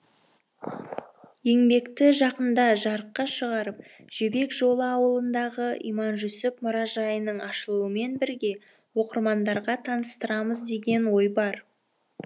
еңбекті жақында жарыққа шығарып жібек жолы ауылындағы иманжүсіп мұражайының ашылуымен бірге оқырманға таныстырамыз деген ой бар